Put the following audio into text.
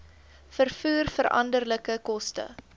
vervoer veranderlike koste